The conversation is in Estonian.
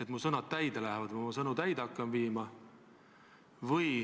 et mu sõnad täide lähevad või et ma oma sõnu täide hakkan viima.